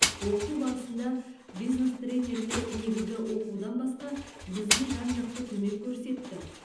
оқыту барысында бизнес тренерлер негізгі оқудан басқа бізге жан жақты көмек көрсетті